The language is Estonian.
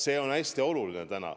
See on hästi oluline.